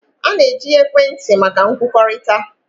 A na-eji ekwentị maka nkwukọrịta.